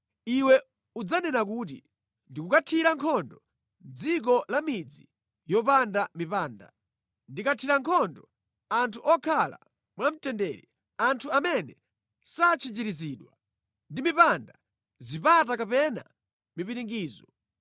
Iwe udzanena kuti, ‘Ndikukathira nkhondo dziko la midzi yopanda mipanda; ndikathira nkhondo anthu okhala mwamtendere, anthu amene satchinjirizidwa ndi mipanda, zipata kapena mipiringidzo.